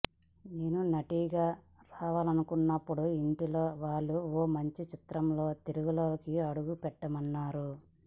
నేను నటిగా మారాలనుకున్నప్పుడు ఇంట్లో వాళ్లు ఓ మంచి చిత్రంతో తెలుగులోకి అడుగుపెట్టమన్నారు